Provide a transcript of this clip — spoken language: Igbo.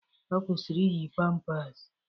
Ọ kwụsịrị iyi pampers.